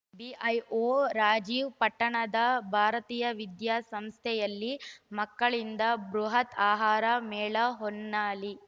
BEO Rajeev ಪಟ್ಟಣದ ಭಾರತೀಯ ವಿದ್ಯಾಸಂಸ್ಥೆಯಲ್ಲಿ ಮಕ್ಕಳಿಂದ ಬೃಹತ್‌ ಆಹಾರ ಮೇಳ ಹೊನ್ನಾಳಿ